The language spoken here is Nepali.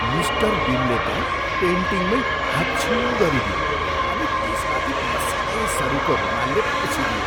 मिस्टर बिनले त पेन्टिङमै हाच्छिउँ गरिदिए अनि त्यसमाथि पसिनैसरिको रूमालले पुछिदिए।